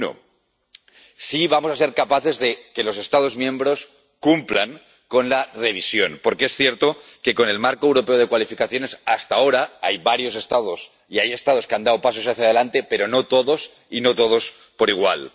Uno si vamos a ser capaces de que los Estados miembros cumplan con la revisión, porque es cierto que con el Marco Europeo de Cualificaciones hasta ahora hay varios Estados que han dado pasos hacia delante, pero no todos, y no todos por igual.